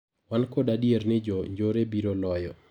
Wan kod adier ni jo njore biro loyo.